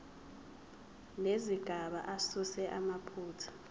nezigaba asuse amaphutha